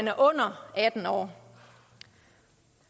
er under atten år